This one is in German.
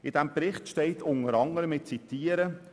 In diesem Bericht steht unter anderem – ich zitiere: